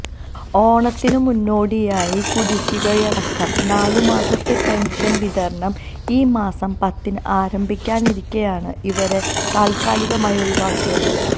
ഓണത്തിനു മുന്നോടിയായി കുടിശികയടക്കം നാലു മാസത്തെ പെന്ഷന് വിതരണം ഈ മാസം പത്തിന് ആരംഭിക്കാനിരിക്കെയാണ് ഇവരെ താത്കാലികമായി ഒഴിവാക്കിയത്